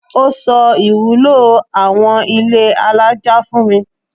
Ó sọ ìwúlò àwon ilé alájà fún mi.